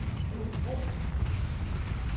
Aabybro